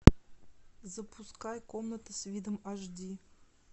запускай комната с видом аш ди